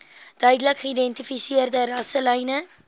duidelik geïdentifiseerde rasselyne